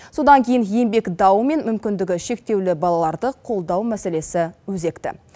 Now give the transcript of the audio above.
содан кейін еңбек дауы мен мүмкіндігі шектеулі балаларды қолдау мәселесі өзекті